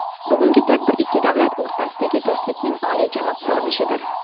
Bugungi tadbir ikki davlat o‘rtasidagi do‘stlikning oliyjanob ko‘rinishidir.